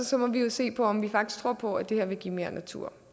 så må vi jo se på om vi faktisk tror på at det her vil give mere natur